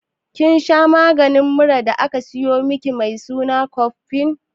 Kin masha maganin muran da aka sayo miki mai suna cofex?